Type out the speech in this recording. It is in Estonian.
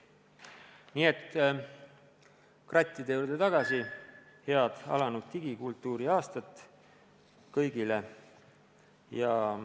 Nii et krattide juurde tagasi: head alanud digikultuuriaastat kõigile!